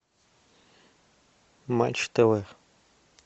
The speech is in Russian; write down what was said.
матч тв